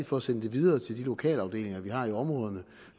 for at sende det videre til de lokalafdelinger vi har i områderne